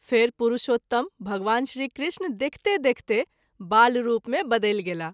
फेरि पुरुषोत्तम भगवान श्री कृष्ण देखिते देखिते बालरूप मे बदलि गेलाह।